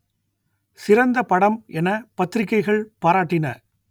சிறந்த படம் என பத்திரிகைகள் பாராட்டின